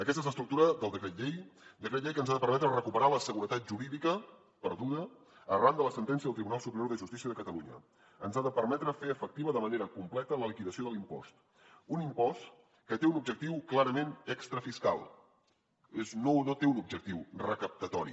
aquesta és l’estructura del decret llei decret llei que ens ha de permetre recuperar la seguretat jurídica perduda arran de la sentència del tribunal superior de justícia de catalunya ens ha de permetre fer efectiva de manera completa la liquidació de l’impost un impost que té un objectiu clarament extra fiscal no té un objectiu recaptatori